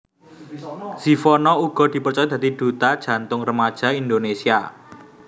Zivanna uga dipercaya dadi duta Jantung Remaja Indonésia